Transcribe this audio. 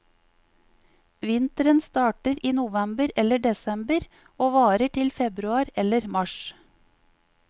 Vinteren starter i november eller desember, og varer til februar eller mars.